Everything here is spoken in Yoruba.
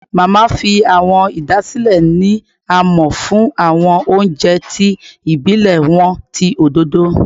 Mama fi awọn idasile ni a mọ fun awọn ounjẹ ti ibilẹ wọn ti ododo